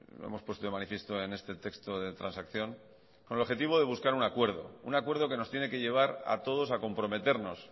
lo hemos puesto de manifiesto en este texto de transacción con el objetivo de buscar un acuerdo un acuerdo que nos tiene que llevar a todos a comprometernos